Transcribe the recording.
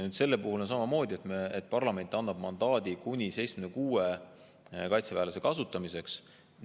Selle puhul on samamoodi, et parlament annab mandaadi kuni 76 kaitseväelase kasutamiseks.